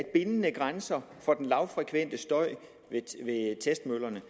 bindende grænser for den lavfrekvente støj ved testmøllerne